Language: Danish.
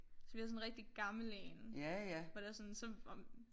Så vi havde sådan en rigtig gammel én hvor det var sådan så om